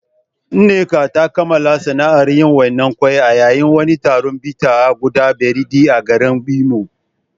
Nneka ta kammala sana’ar yin wainar ƙwai a yayin wani taron bita a gudan biredi a garin Imo.